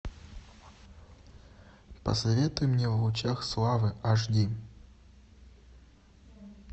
посоветуй мне в лучах славы аш ди